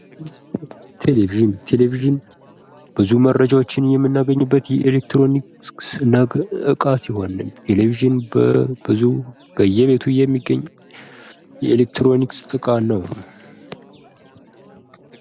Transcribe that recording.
ቴሌቪዥን ቴሌቪዥን ብዙ መረጃዎችን የምናገኝበት የኤሌክትሮኒክስ እቃ ሲሆን ቴሌቪዥን በየቤቱ የሚገኝ የኤሌክትሮኒክስ እቃ ነው።